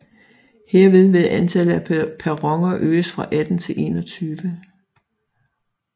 Herved vil antallet af perroner øges fra 18 til 21